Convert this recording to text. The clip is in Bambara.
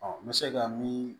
n bɛ se ka min